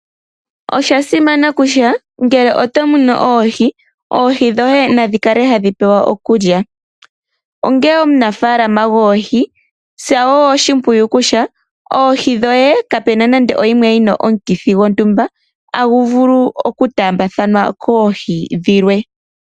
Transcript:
Oshasimana kutya ngele otomunu oohi, oohi dhoye nadhi kale hadhi pewa okulya, onge omunafaalama goohi tsa yo oshipwiyu kutya oohi dhoye kape na nando oyimwe yina omukithi gotumba agu vulu oku taambathanwa koohi dhilwe.